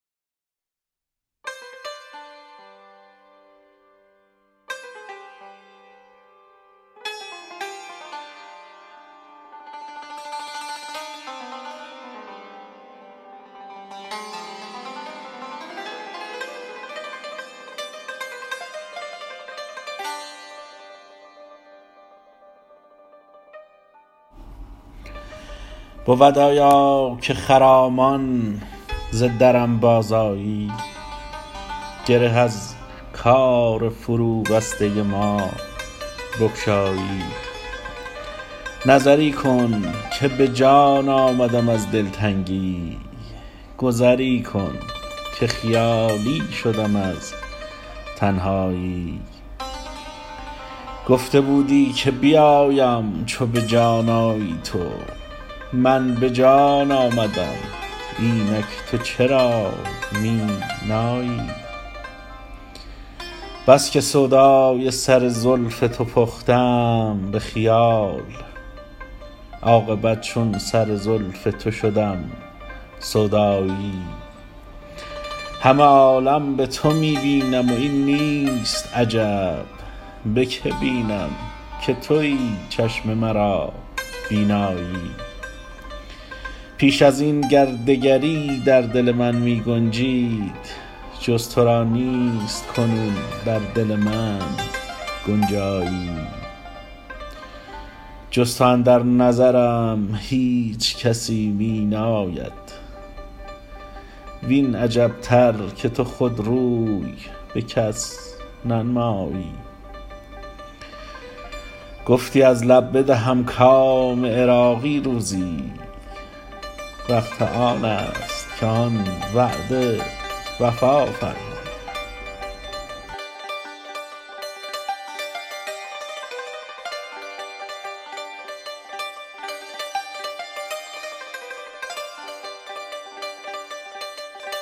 بود آیا که خرامان ز درم بازآیی گره از کار فروبسته ما بگشایی نظری کن که به جان آمدم از دلتنگی گذری کن که خیالی شدم از تنهایی گفته بودی که بیایم چو به جان آیی تو من به جان آمدم اینک تو چرا می نایی بس که سودای سر زلف تو پختم به خیال عاقبت چون سر زلف تو شدم سودایی همه عالم به تو می بینم و این نیست عجب به که بینم که تویی چشم مرا بینایی پیش ازین گر دگری در دل من می گنجید جز تو را نیست کنون در دل من گنجایی جز تو اندر نظرم هیچ کسی می ناید وین عجبتر که تو خود روی به کس ننمایی گفتی از لب بدهم کام عراقی روزی وقت آن است که آن وعده وفا فرمایی